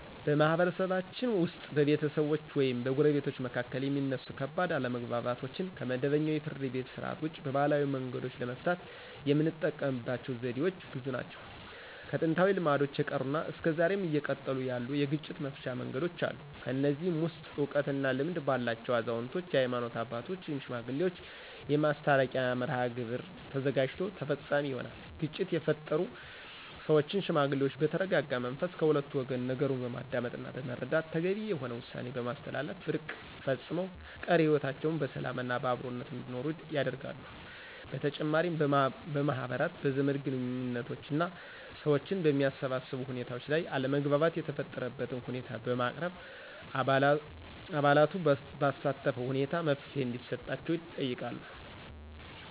በማህበረሰባችን ውስጥ በቤተሰቦች ወይም በጎረቤቶች መካከል የሚነሱ ከባድ አለመግባባቶችን ከመደበኛው የፍርድ ቤት ሥርዓት ውጪ በባህላዊ መንገዶች ለመፍታት የምንጠቀምበት ዘዴዎች ብዙ ናቸው። ከጥንታዊ ልማዶች የቀሩና እስከ ዛሬም እየቀጠሉ ያሉ የግጭት መፍቻ መንገዶች አሉ። ከነዚህም ውስጥ እውቀት እና ልምድ ባላቸው አዛውንቶች፣ የሀይማኖት አባቶች ወይም ሽማግሌዎች የማስታረቂያ መርሐግብር ተዘጋጅቶ ተፈፃሚ ይሆናል። ግጭት የፈጠሩ ሰዎችን ሽማግሌዎች በተረጋጋ መንፈስ ከሁለቱ ወገን ነገሩን በማዳመጥና በመረዳት ተገቢ የሆነ ውሳኔ በማስተላለፍ እርቅ ፈፅመው ቀሪ ህይወታቸውን በሰላምና በአብሮነት እንዲኖሩ ያደርጋሉ። በተጨማሪም በማህበራት፣ በዘመድ ግንኙዎችና ሰዎችን በሚያሰባስቡ ሁኔታዎች ላይ አለመግባባት የተፈጠረበትን ሁኔታ በማቅረብ አባላቱን ባሳተፈ ሁኔታ መፍትሔ እንዲሰጣቸው ይጠይቃሉ።